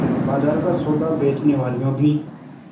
बाजार का सौदा बेचनेवालियॉँ भी